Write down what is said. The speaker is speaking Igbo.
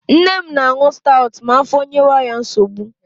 Nne m na-aṅu stawụt ma afọ nyewe ya nsogbu.